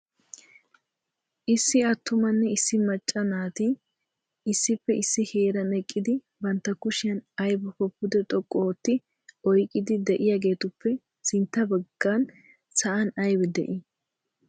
Issi attumanne issi macca naati issippe issi heeran eqqidi bantta kushiyan aybbakko pude xoqqu ootti oyqqidi de'iyaageetuppe sintta baggan sa'an aybbi de'ii?